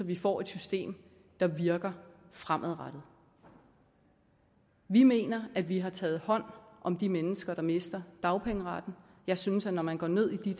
vi får et system der virker fremadrettet vi mener at vi har taget hånd om de mennesker der mister dagpengeretten jeg synes at når man går ned i